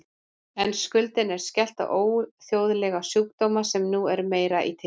En skuldinni er skellt á óþjóðlega sjúkdóma sem nú eru meira í tísku.